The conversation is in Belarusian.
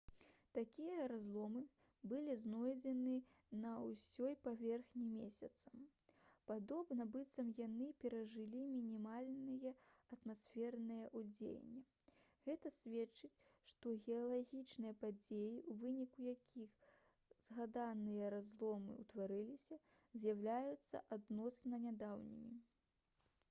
такія разломы былі знойдзены на ўсёй паверхні месяца падобна быццам яны перажылі мінімальнае атмасфернае ўздзеянне гэта сведчыць што геалагічныя падзеі у выніку якіх згаданыя разломы ўтварыліся з'яўляюцца адносна нядаўнімі